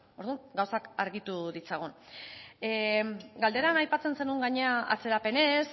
orduan gauzak argitu ditzagun galderan aipatzen zenuen gainera atzerapenez